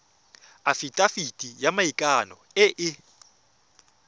afitafiti ya maikano e e